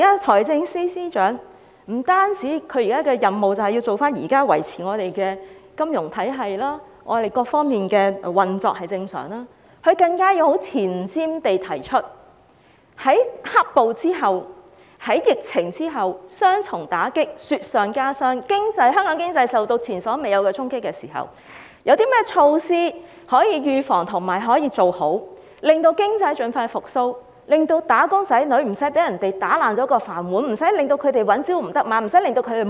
財政司司長目前的任務不單是維持金融體系和各方面運作正常，更要有前瞻地提出，在"黑暴"和疫情帶來雙重打擊下，當香港經濟受到前所未有的衝擊時，有何措施可以預防和做好，促使經濟盡快復蘇，以免"打工仔女"被人打破"飯碗"，因而朝不保夕、三餐不繼。